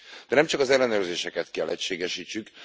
De nem csak az ellenőrzéseket kell egységesítsük.